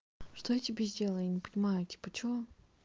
что я тебе сделала я не понимаю тебя что